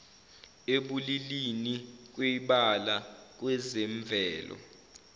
ebulilini kwibala kwezemvelo